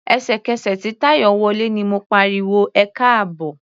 Ẹ̀sẹ̀kẹsẹ̀ tí Táyọ̀ wọlé ni mo pariwo "ẹkáàbọ̀".